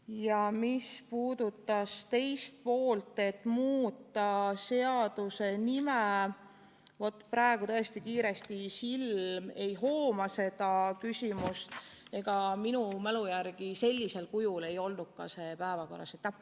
Ja mis puudutab teist poolt, muuta seaduse nime – praegu tõesti silm kiiresti ei hooma seda küsimust, aga minu mälu järgi seda sellisel kujul päevakorras ei olnud.